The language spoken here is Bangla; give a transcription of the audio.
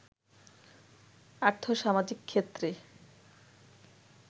আর্থ-সামাজিক ক্ষেত্রে